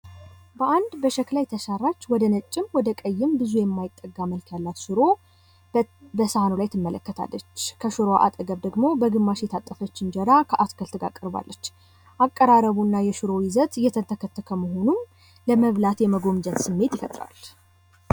በአንድ በሸክላ የተሰራች ወደ ነጭም ወደ ቀይም በሳህኑ ላይ ትመለከታለች። ከሽሮው አጠገብም ደግሞ በግማሽ የታጠፈች እንጀራ ከአትክልት ጋር ቀርባለች። አቀራርቡ እና የሽሮ ይዘት እየተንተከተክ መሆኑን ለመብላት የመጎምጀት ስሜት ይፈጥራል።